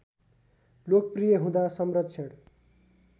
लोकप्रि‍‍य हुँदा संरक्षण